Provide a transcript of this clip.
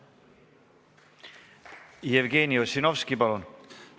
Jevgeni Ossinovski, palun!